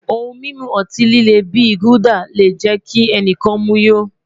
Ohun mimu ọti-lile bi Gulder le jẹ ki ẹnikan mu yó